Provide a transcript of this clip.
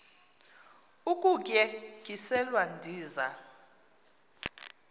ukutye tyiselwa ndiza